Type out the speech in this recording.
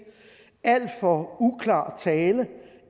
alt for uklar tale